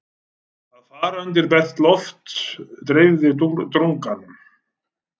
Að fara út undir bert loft dreifði drunganum.